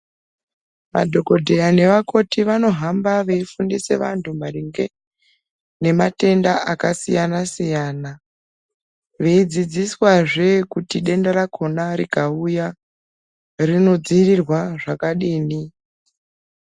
Madhokoteya nevakoti vanohamba veyifundisa anhu maringe ge ngematenda akasiyana siyana veyidzidziswa zve kuti denda rakona rikauya rinodzivirirwa zvakadini.